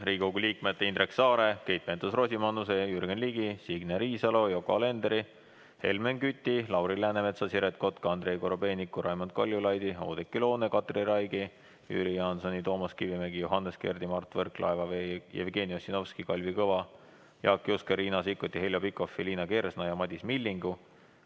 Riigikogu liikmete Indrek Saare, Keit Pentus-Rosimannuse, Jürgen Ligi, Signe Riisalo, Yoko Alenderi, Helmen Küti, Lauri Läänemetsa, Siret Kotka, Andrei Korobeiniku, Raimond Kaljulaidi, Oudekki Loone, Katri Raigi, Jüri Jaansoni, Toomas Kivimägi, Johannes Kerdi, Mart Võrklaeva, Jevgeni Ossinovski, Kalvi Kõva, Jaak Juske, Riina Sikkuti, Heljo Pikhofi, Liina Kersna ja Madis Millingu